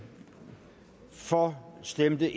for stemte